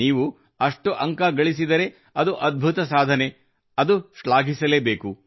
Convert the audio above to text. ನೀವು ಅಷ್ಟು ಅಂಕ ಗಳಿಸಿದರೆ ಅದು ಅದ್ಭುತ ಸಾಧನೆ ಮತ್ತು ಶ್ಲಾಘಿಸಲೇಬೇಕು